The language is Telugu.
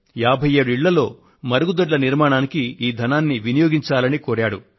57 ఇళ్లలో మరుగుదొడ్ల నిర్మాణానికి ఈ ధనాన్ని వినియోగించాలని కోరాడు